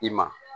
I ma